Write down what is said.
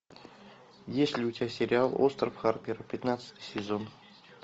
есть ли у тебя сериал остров харпера пятнадцатый сезон